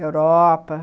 Europa.